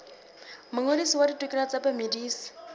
mongodisi wa ditokelo tsa bamedisi